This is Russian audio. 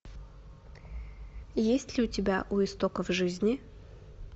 есть ли у тебя у истоков жизни